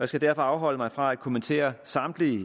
skal derfor afholde mig fra at kommentere samtlige